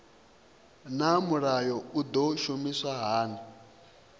naa mulayo u do shumiswa hani